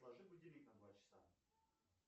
отложи будильник на два часа